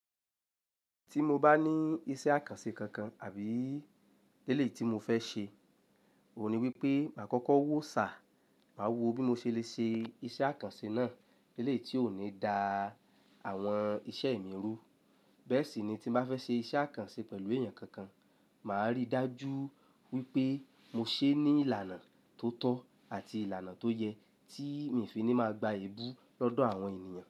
Tí mo bá ní iṣẹ́ àkànṣe kankan àbí eléyìí tí mo fẹ́ ṣe, òhun ni wípé máa kọ́kọ́ wò sá, máa wò bí mo ṣe lè ṣe iṣẹ́ àkànṣe náà eléyìí tí ò ní da àwọn iṣẹ́ mi rú. Bẹ́ẹ̀ sì ni tí mo bá fẹ́ ṣe iṣẹ́ àkànṣe pẹ̀lú èèyàn kankan, màá rí dájú wípé mo ṣe ní ìlànà tó tọ́ àti ìlànà tó yẹ tí mi fi ní máa gba èébú lọ́dọ̀ àwọn ènìyàn.